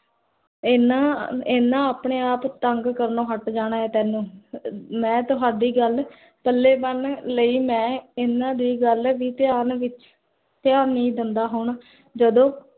ਇੰਨਾ ਇੰਨਾ ਆਪਣੇ ਆਪ ਤੰਗ ਕਰਨੋ ਹਟ ਜਾਣਾ ਹੈ ਤੇਨੁ l ਮੈਂ ਤੁਹਾਡੀ ਗਲ, ਪੱਲੇ ਬਣ ਲਈ ਮੈਂ ਇੰਨਾ ਦੀ ਗਲ ਵੀ ਤੇ ਆਪ ਵਿਚ ਧਿਆਨ ਨੀ ਦਿੰਦਾ ਹੋਣਾ ਜਦੋ